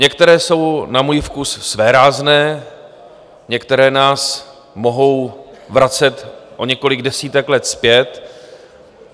Některé jsou na můj vkus svérázné, některé nás mohou vracet o několik desítek let zpět.